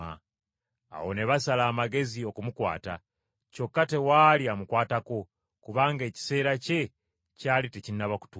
Awo ne basala amagezi okumukwata, kyokka tewaali amukwatako, kubanga ekiseera kye kyali tekinnaba kutuuka.